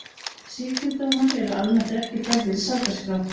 Sýknudómar eru almennt ekki færðir í sakaskrá.